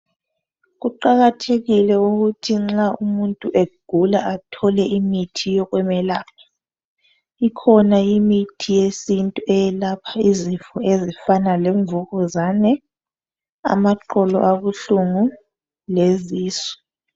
Kuqakathekile ukuthi nxa umuntu egula athole imithi yokumelapha. Ikhona imithi yesintu eyelapha izifo ezifana lemvukuzane amaqolo abuhlungu lezisu